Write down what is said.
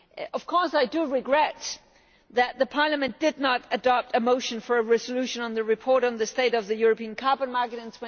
Of course I regret that Parliament did not adopt a motion for a resolution on the report on the state of the European carbon market in